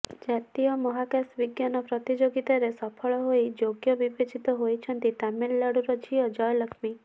ଜାତୀୟ ମହାକାଶ ବିଜ୍ଞାନ ପ୍ରତିଯୋଗିତାରେ ସଫଳ ହୋଇ ଯୋଗ୍ୟ ବିବେଚିତ ହୋଇଛନ୍ତି ତାମିଲନାଡୁର ଝିଅ ଜୟଲକ୍ଷ୍ମୀ